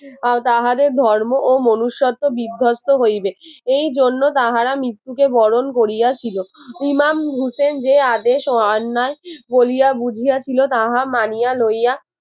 তাহাদের ধর্ম ও মনুষ্যত্ব বিধ্বস্ত হইবে এই জন্য তাহারা মৃত্যুকে বরণ করিয়াছিল ইমাম হোসেন যে আদেশ ও অন্যায় বলিয়া বুঝিয়াছিল তাহা মানিয়া লইয়া